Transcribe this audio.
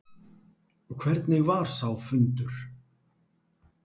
Hvernig var sá fundur?